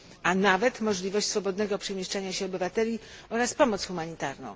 a nawet możliwość swobodnego przemieszczania się obywateli oraz pomoc humanitarną.